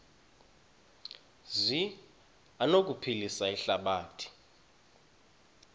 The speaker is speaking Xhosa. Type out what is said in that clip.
zi anokuphilisa ihlabathi